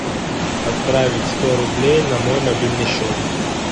отправить сто рублей на мой мобильный счет